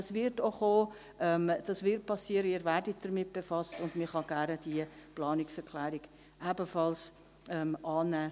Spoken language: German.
Das wird kommen, das wird geschehen, Sie werden damit befasst, und man kann diese Planungserklärung ebenfalls gerne annehmen.